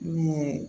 Min ye